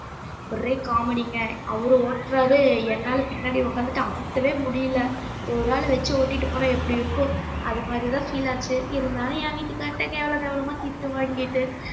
ஒரே comedy ங்க அவரு ஓட்டுறாரு என்னால பின்னாடி உட்கார்ந்துட்டு அமுத்தவே முடியலை ஒரு ஆளை வச்சு ஓட்டிட்டு போனால் எப்படி இருக்கும் அது மாதிரிதான் feel ஆச்சு இருந்தாலும் என் வீட்டுக்காரர்ட்ட கேவலம் கேவலமா திட்டு வாங்கிட்டு